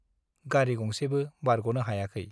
गारी गंसेबो बारग'नो हायाखै ।